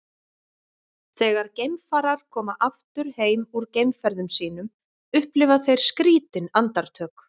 Þegar geimfarar koma aftur heim úr geimferðum sínum upplifa þeir skrýtin andartök.